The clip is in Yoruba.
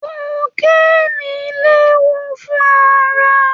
Kokéènì léwu fún ara